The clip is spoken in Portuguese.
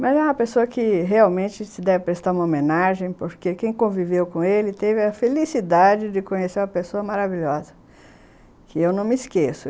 Mas é uma pessoa que realmente se deve prestar uma homenagem, porque quem conviveu com ele teve a felicidade de conhecer uma pessoa maravilhosa, que eu não me esqueço.